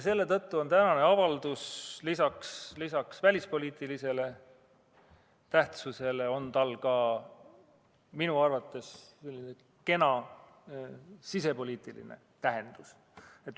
Selle tõttu on tänasel avaldusel lisaks välispoliitilisele tähtsusele minu arvates ka selline kena sisepoliitiline tähendus.